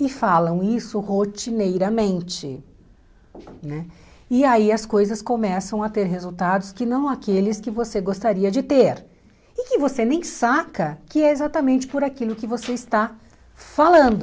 e falam isso rotineiramente né e aí as coisas começam a ter resultados que não aqueles que você gostaria de ter e que você nem saca que é exatamente por aquilo que você está falando